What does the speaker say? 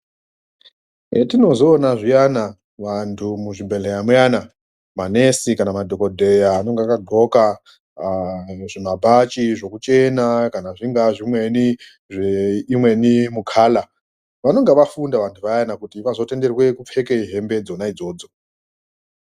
Zvetinozoona zviyana vantu muzvibhedhleya muyana manesi kana madhogodheya anenge akadhloka aa zvimabhachi zvekuchena, kana zvingaa zvimweni neimweni mukala. Vanonga vafunda vantu vayana kuti vazotenderwe kupfeka hembe idzona idzodzo.